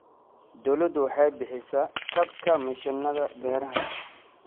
Dawladdu waxay bixisa kabka mishiinada beeraha.